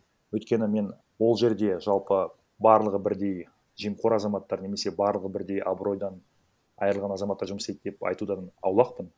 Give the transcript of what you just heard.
өйткені мен ол жерде жалпы барлығы бірдей жемқор азаматтар немесе барлығы бірдей абыройдан айырылған азаматтар жұмыс істейді деп айтудан аулақпын